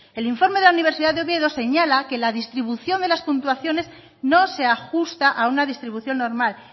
el informe de la universidad de oviedo señala que la distribución de las puntuaciones no se ajusta a una distribución normal